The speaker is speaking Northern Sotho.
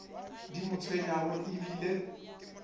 di mo tshwenyago e bile